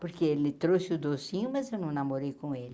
Porque ele trouxe o docinho, mas eu não namorei com ele.